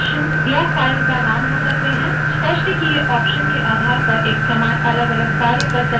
स्पष्ट किए option के आधार पर एक command अलगअलग कार्य कर सकती है